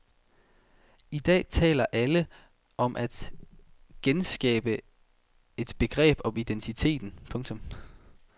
I dag taler alle om at genskabe et begreb om identiteten. punktum